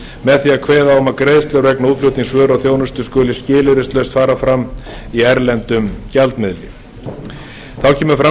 með því að kveða á um að greiðslur vegna útflutnings vöru og þjónustu skuli skilyrðislaust fara fram í erlendum gjaldmiðli þá kemur fram